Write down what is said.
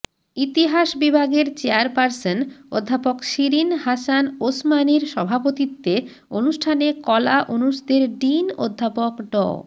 ইতিহাস বিভাগের চেয়ারপার্সন অধ্যাপক শিরিন হাসান ওসমানীর সভাপতিত্বে অনুষ্ঠানে কলা অনুষদের ডিন অধ্যাপক ড